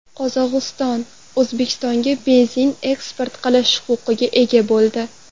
Qozog‘iston O‘zbekistonga benzin eksport qilish huquqiga ega bo‘ldi.